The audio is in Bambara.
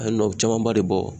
A ye nɔ camanba de bɔ